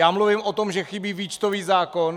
Já mluvím o tom, že chybí výčtový zákon.